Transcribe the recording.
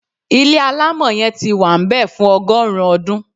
Ilé alamọ yẹn tí wá nbẹ fún ọgọrun ọdún